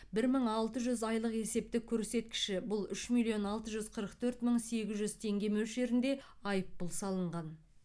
бір мың алты жүз айлық есептік көрсеткіші бұл үш миллион алты жүз қырық төрт мың сегіз жүз теңге мөлшерінде айыппұл салынған